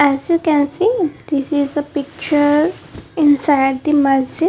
as you can see this is the picture inside the masjid .